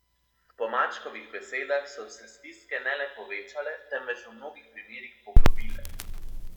Po Mačkovih besedah so se stiske ne le povečale, temveč v mnogih primerih poglobile.